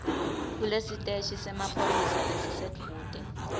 kulesiteshi semaphoyisa lesisedvute